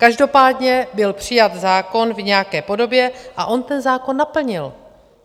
Každopádně byl přijat zákon v nějaké podobě a on ten zákon naplnil.